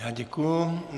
Já děkuji.